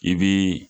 I bi